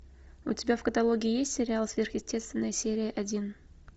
у тебя в каталоге есть сериал сверхъестественное серия один